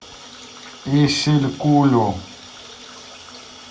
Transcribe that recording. исилькулю